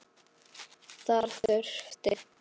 Þar þurfti